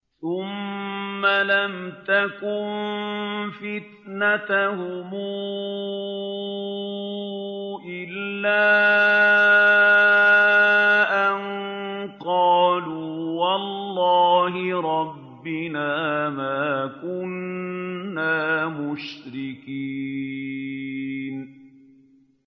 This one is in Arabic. ثُمَّ لَمْ تَكُن فِتْنَتُهُمْ إِلَّا أَن قَالُوا وَاللَّهِ رَبِّنَا مَا كُنَّا مُشْرِكِينَ